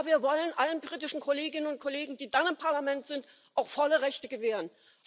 Ja, wir wollen allen britischen Kolleginnen und Kollegen, die dann im Parlament sind, auch volle Rechte gewähren.